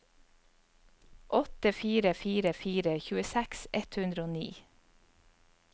åtte fire fire fire tjueseks ett hundre og ni